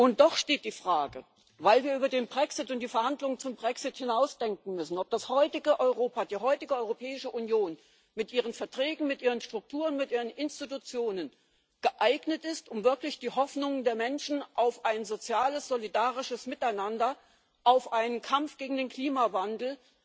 Und doch steht die Frage, weil wir über den Brexit und die Verhandlungen zum Brexit hinaus denken müssen, ob das heutige Europa, die heutige Europäische Union mit ihren Verträgen, mit ihren Strukturen, mit ihren Institutionen geeignet ist, um wirklich die Hoffnungen der Menschen auf ein soziales, solidarisches Miteinander, auf einen Kampf gegen den Klimawandel